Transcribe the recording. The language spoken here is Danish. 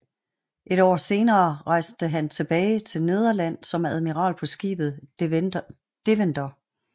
Et år senere rejste han tilbage til Nederland som admiral på skibet Deventer